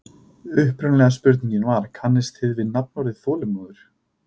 Upprunalega spurningin var: Kannist þið við nafnorðið þolinmóður?